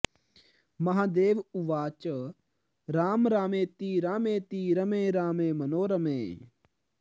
महादेव उवाच राम रामेति रामेति रमे रामे मनोरमे